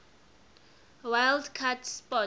wild card spot